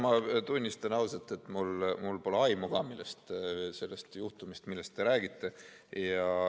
Ma tunnistan ausalt, et mul pole aimu ka sellest juhtumist, millest te räägite.